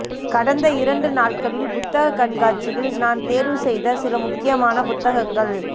கடந்த இரண்டு நாட்களில் புத்தக கண்காட்சியில் நான் தேர்வு செய்த சில முக்கியமான புத்தகங்கள்